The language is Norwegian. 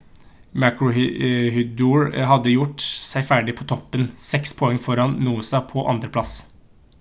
maroochydore hadde gjort seg ferdig på toppen 6 poeng foran noosa på 2. plass